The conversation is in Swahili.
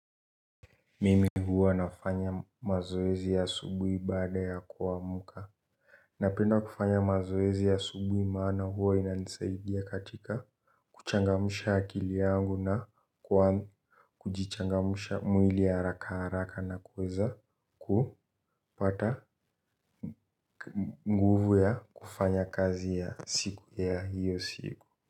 Mimi huwa nafanya mazoezi ya asubuhi baada ya kuamuka. Napenda kufanya mazoezi ya asubuhi maana huwa ina nisaidia katika kuchangamusha akili yangu na kujichangamusha mwili haraka haraka na kuweza kupata nguvu ya kufanya kazi ya siku ya hiyo siku.